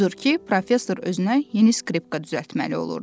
Odur ki, professor özünə yeni skripka düzəltməli olurdu.